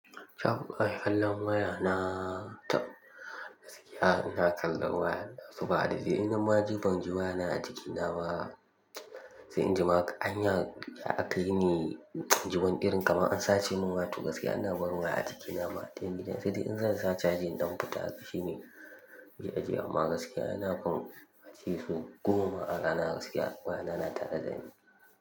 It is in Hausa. Shafukan kallon waya na taɓ, gaskiya ina kallon wayana. Saboda dai in na ma ji banji wayana a jikina ba. Sai injima anya kaine, inji wani irin kaman an sace mun waya to gaskiya ina barin waya a jikina ma. Sai dai in zan sa caji in ɗan fita shi ne nake ajiyewa, amma gaskiya, ina kam, ace so goma ma a rana gaskiya waya na na tare dani.